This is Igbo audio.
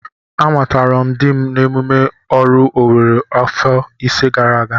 Amatara m dim n'emume oru Owere afọ ise gara aga.